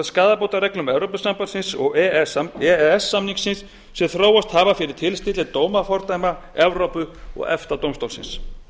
skaðabótareglum evrópusambandsins og e e s samningsins sem þróast hafa fyrir tilstilli dómafordæma evrópu og efta dómstólsins